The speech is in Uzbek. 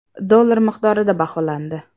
dollar miqdorida baholandi.